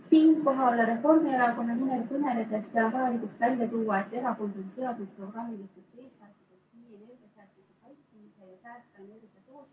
Siinkohal Reformierakonna nimel kõneledes pean vajalikuks välja tuua, et erakond on seadnud programmilisteks eesmärkideks ...